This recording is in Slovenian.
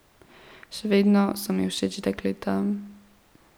Še vedno so mi všeč dekleta.